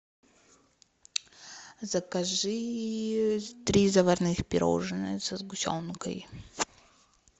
закажи три заварных пирожных со сгущенкой